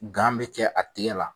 bɛ kɛ a tigɛ la